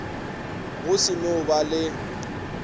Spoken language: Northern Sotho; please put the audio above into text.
go se no ba le